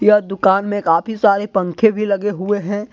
यहां दुकान में काफी सारे पंखे भी लगे हुए हैं।